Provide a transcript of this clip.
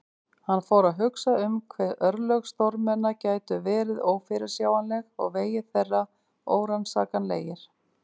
Hann fór að hugsa um hve örlög stórmenna gætu verið ófyrirsjáanleg og vegir þeirra órannsakanlegir.